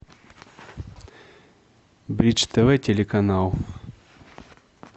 бридж тв телеканал